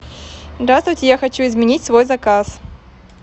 здравствуйте я хочу изменить свой заказ